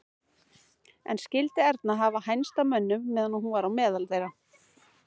En skyldi Erna hafa hænst að mönnum meðan hún var á meðal þeirra?